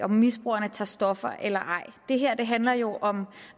misbrugerne tager stoffer eller ej det her handler jo om